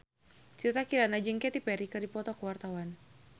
Citra Kirana jeung Katy Perry keur dipoto ku wartawan